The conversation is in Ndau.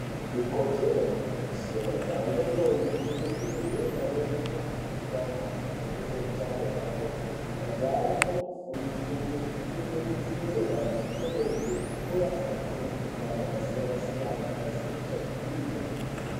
Ikodzero muntu vese majaha ngendombi kuringire pamweni nekufundiswa maringe ngezveutano hwepabonde. Majaha anofane kufundiswe ngezvekupfeke butiro kana achiite bonde, uye asabatire mikuhlani yakasiyana-siyana yakaita se echaivhii ngeedzi.